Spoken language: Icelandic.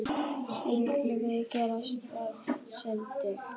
Siglfirðingurinn Grétar Rafn Steinsson